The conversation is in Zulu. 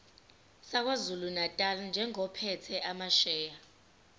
sakwazulunatali njengophethe amasheya